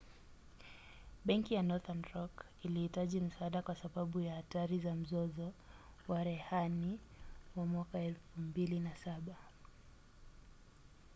benki ya northern rock ilihitaji msaada kwa sababu ya hatari za mzozo wa rehani wa 2007